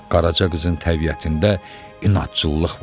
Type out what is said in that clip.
Qaraca qızın təbiətində inadçılıq var idi.